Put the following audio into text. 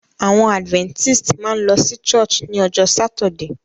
Àwon adventist máa n lo sí church ni ojó Saturday